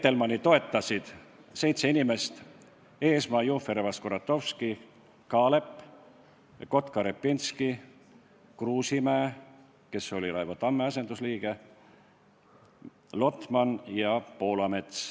Reitelmanni toetas seitse inimest: Eesmaa, Jufereva-Skuratovski, Kaalep, Kotka-Repinski, Kruusimäe, kes oli Raivo Tamme asendusliige, Lotman ja Poolamets.